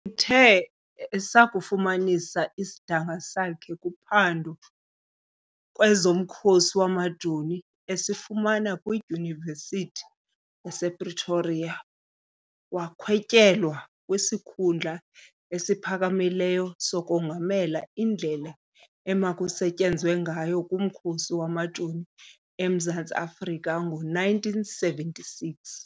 Uthe esakufumanisa isidanga sakhe kuphando kwezoMkhosi wamaJoni esifumana kwiYunivesithi yasePretoria, wakhwetyelwa kwisikhundla esiphakamileyo sokongamela indlela emakusetyenzwe ngayo ngumkhosi wamaJoni eMzantsi Afrika ngo 1976.